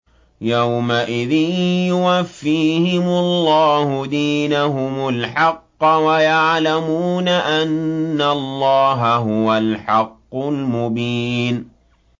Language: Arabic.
يَوْمَئِذٍ يُوَفِّيهِمُ اللَّهُ دِينَهُمُ الْحَقَّ وَيَعْلَمُونَ أَنَّ اللَّهَ هُوَ الْحَقُّ الْمُبِينُ